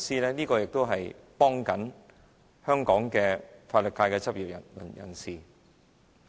有關修訂可幫助香港法律界的執業人士。